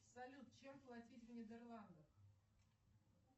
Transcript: салют чем платить в нидерландах